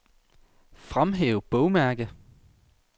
Fremhæv bogmærke.